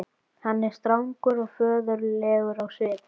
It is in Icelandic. Hann er strangur og föður legur á svip.